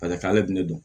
ale bɛ ne dɔn